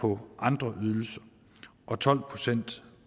på andre ydelser og tolv procent